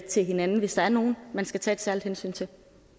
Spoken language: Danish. til hinanden hvis der er nogen man skal tage et særligt hensyn til